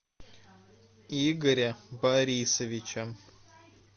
игоря борисовича